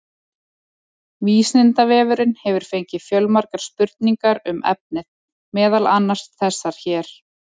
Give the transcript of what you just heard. Vísindavefurinn hefur fengið fjölmargar spurningar um efnið, meðal annars þessar hér: